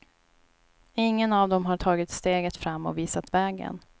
Ingen av dem har tagit steget fram och visat vägen.